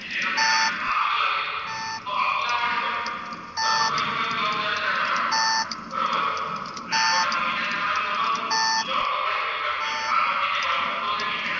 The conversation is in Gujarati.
આમાંથી જે વાયુ બનતો હશે